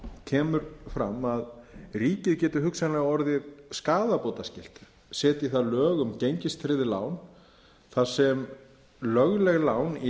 kemur fram að ríkið geti hugsanlega orðið skaðabótaskylt setji það lög um gengistryggð lán þar sem lögleg lán í